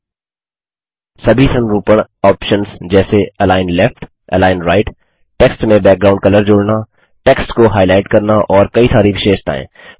सभी संरूपणफार्मेटिंग ऑप्शन्स जैसे align left align right text में बैकग्राउंड कलर जोड़ना टेक्स्ट को हाइलाइट करना और कई सारी विशेषताएँ